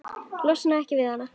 Losnar ekki við hann.